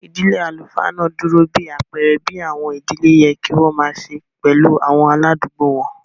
Ìdílé àlùfáà náà dúró bí àpẹ̀ẹrẹ bí àwọn ìdílé yẹ kí wọ́n màa se pẹ̀lú àwọn aláàdùgbò wọn